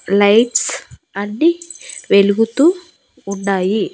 Lights అన్నీ వెలుగుతూ ఉన్నాయి.